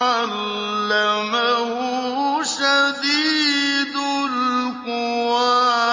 عَلَّمَهُ شَدِيدُ الْقُوَىٰ